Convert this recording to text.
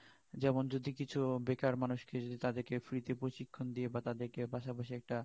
যেমন যদি কিছু বেকার মানুষ কে যদি তাদের Free তে প্রশিক্ষন দিয়ে বা তাদের কে পাশাপাশি একটা